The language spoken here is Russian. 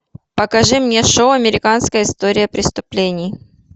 покажи мне шоу американская история преступлений